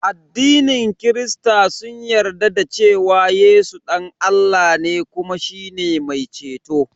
Addinin kirista sun yarda da cewa Yesu dan Allah ne kuma shine mai ceto.